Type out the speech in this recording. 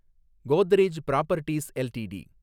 Godrej properties LTD